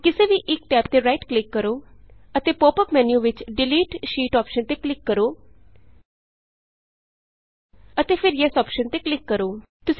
ਹੁਣ ਕਿਸੇ ਵੀ ਇਕ ਟੈਬ ਤੇ ਰਾਈਟ ਕਲਿਕ ਕਰੋ ਅਤੇ ਪੋਪ ਅੱਪ ਮੈਨਯੂ ਵਿਚ delete sheet delete sheet option ਤੇ ਕਲਿਕ ਕਰੋ ਅਤੇ ਫਿਰ ਯੈੱਸ ਯੇਸ ਅੋਪਸ਼ਨ ਤੇ ਕਲਿਕ ਕਰੋ